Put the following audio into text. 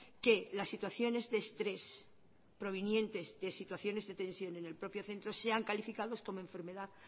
que las situaciones de estrés provenientes de situaciones de tensión en el propio centro sean calificados como enfermedad